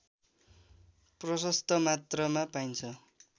प्रशस्त मात्रामा पाइन्छ